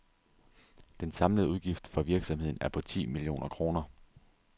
Den samlede udgift for virksomheden er på ti millioner kroner.